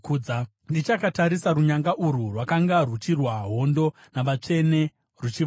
Ndichakatarisa, runyanga urwu rwakanga ruchirwa hondo navatsvene ruchivakunda,